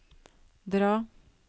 dra